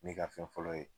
Ne ka fɛn fɔlɔ ye